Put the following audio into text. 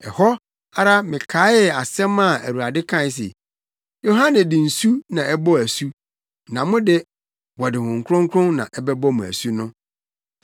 Ɛhɔ ara mekaee asɛm a Awurade kae se, ‘Yohane de nsu na ɛbɔɔ asu na mo de, wɔde Honhom Kronkron na ɛbɛbɔ mo asu’ no.